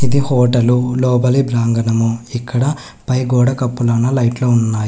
ఇది హోటలు లోపలి ప్రాంగణము ఇక్కడ పై గోడకప్పులోనా లైట్లు ఉన్నాయి.